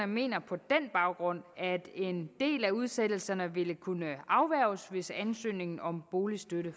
mener på den baggrund at en del af udsættelserne ville kunne afværges hvis ansøgning om boligstøtte